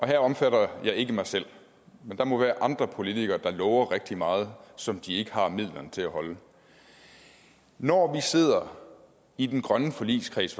det omfatter ikke mig selv men der må være andre politikere der lover rigtig meget som de ikke har midlerne til at holde når vi sidder i den grønne forligskreds